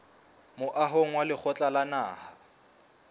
moahong wa lekgotla la naha